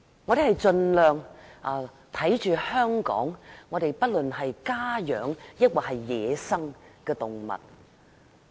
我們盡量保護香港家養或野生的動物。